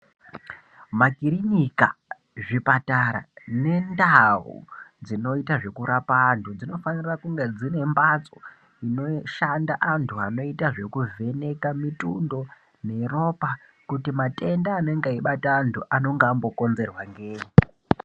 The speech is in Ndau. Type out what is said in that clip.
Makirinika, zvipatara nendau dzinoita zvekurapa antu dzinofanira kunge dzine mphatso dzinoshanda antu anoita zvekuvheneka mitundo neropa kuti matenda anenge eibate antu anonga ambokonzerwa ngeyi.